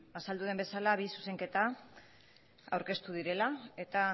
azaldu den bezala bi zuzenketa aurkeztu direla eta